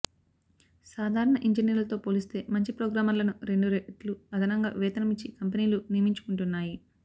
సాధారణ ఇంజినీర్లతో పోలిస్తే మంచి ప్రోగ్రామర్లను రెండు రెట్లు అదనంగా వేతనం ఇచ్చి కంపెనీలు నియమించుకుంటుంటాయి